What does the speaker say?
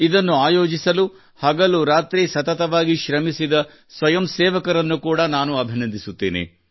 ಇದನ್ನು ಆಯೋಜಿಸಲು ಹಗಲು ರಾತ್ರಿ ಸತತವಾಗಿ ಶ್ರಮಿಸಿದ ಸ್ವಯಂ ಸೇವಕರನ್ನು ಕೂಡಾ ನಾನು ಅಭಿನಂದಿಸುತ್ತೇನೆ